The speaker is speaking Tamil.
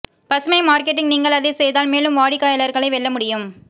பசுமை மார்க்கெட்டிங் நீங்கள் அதை செய்தால் மேலும் வாடிக்கையாளர்களை வெல்ல முடியும்